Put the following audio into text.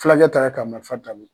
Fulakɛ taara ka marifa t'a bolo.